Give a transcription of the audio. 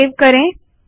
save करेंगे